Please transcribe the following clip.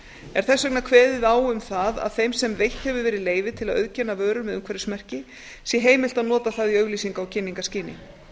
er þess vegna kveðið á um það að þeim sem eitt hefur verið leyfi til að auðkenna vörur með umhverfismerki sé heimilt að nota það í auglýsinga og kynningarskyni